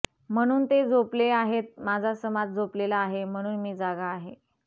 म्हणून ते झोपले आहेत माझा समाज झोपलेला आहे म्हणून मी जागा आहे